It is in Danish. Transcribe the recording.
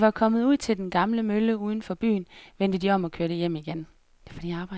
Da de var kommet ud til den gamle mølle uden for byen, vendte de om og kørte hjem igen.